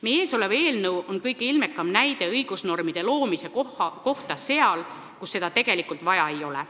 Meie ees olev eelnõu on kõige ilmekam näide õigusnormide loomise kohta seal, kus neid tegelikult vaja ei ole.